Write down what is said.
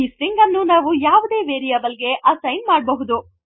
ಈ ಸ್ಟ್ರಿಂಗ್ ಅನ್ನು ನಾವು ಯಾವುದೇ ವೇರೀಯೇಬಲ್ ಗೆ ಅಸ್ಸೈನ್ ಮಾಡಬಹುದು